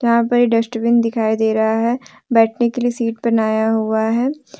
यहां पे एक डस्टबिन दिखाई दे रहा है बैठने के लिए सीट बनाया हुआ है।